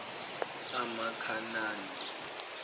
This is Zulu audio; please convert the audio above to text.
amakhanani